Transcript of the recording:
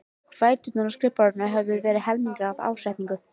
Fæturnir á skrifborðinu höfðu verið helmingaðir af ásetningi.